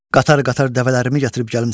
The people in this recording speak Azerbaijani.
Qatar-qatar dəvələrimi gətirib gəlmisən.